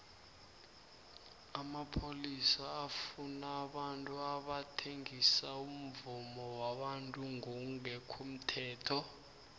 amapholisa afuna abantu abathengisa umvumo wabantu ngongemthetho